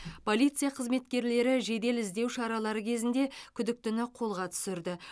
полиция қызметкерлері жедел іздеу шаралары кезінде күдіктіні қолға түсірді